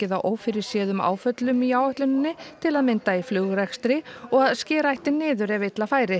á ófyrirséðum áföllum í áætluninni til að mynda í flugrekstri og að skera eigi niður ef illa fari